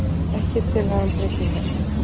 Ekki tillaga um breytingar